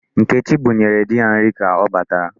Nkechi bunyere di ya nri ka ọ batara.